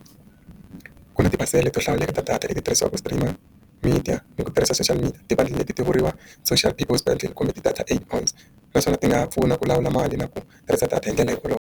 Ku na tiphasela to hlawuleka ta data leti tirhisiwaka stream media ni ku tirhisa social media tibandi leti ti vuriwaka social binding kumbe ti-data eight bones naswona ti nga pfuna ku lawula mali na ku tirhisa data hi ndlela hikwalaho.